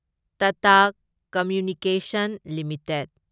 Tata communications limited